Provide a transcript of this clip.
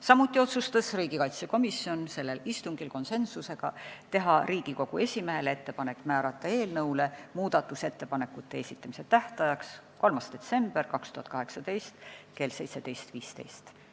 Samuti otsustas riigikaitsekomisjon sellel istungil konsensusega teha Riigikogu esimehele ettepaneku määrata eelnõu muudatusettepanekute esitamise tähtajaks 3. detsember 2018 kell 17.15.